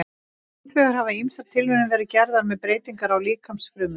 Hins vegar hafa ýmsar tilraunir verið gerðar með breytingar á líkamsfrumum.